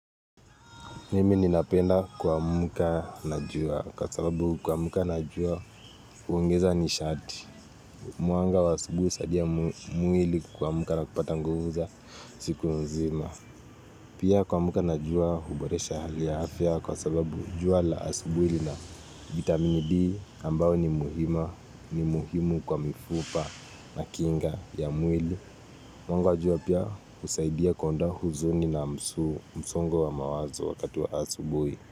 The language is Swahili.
Mimi ninapenda kuamka na jua kwa sababu kuamka na jua uongeza ni shati. Mwanga wa asubuhi saadia muili kuamka na kupata nguvu za siku nzima. Pia kuamka na jua huboresha hali ya afya kwa sababu jua la asubuhi lina vitamine D ambao ni muhima ni muhimu kwa mifupa na kinga ya muili. Mwanga wa jua pia kusaidia kuondoa huzuni na msu msongo wa mawazo wakatu wa asubuhi.